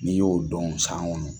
N'i y'o dɔn san kɔnɔ